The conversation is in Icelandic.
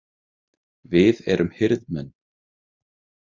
Við erum hirðmenn.